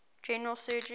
general surgery